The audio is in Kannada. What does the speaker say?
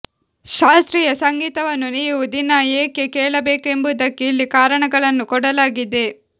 ಶಾಸ್ತ್ರೀಯ ಸಂಗೀತವನ್ನು ನೀವು ದಿನಾ ಏಕೆ ಕೇಳಬೇಕೆಂಬುದಕ್ಕೆ ಇಲ್ಲಿ ಕಾರಣಗಳನ್ನು ಕೊಡಲಾಗಿದೆ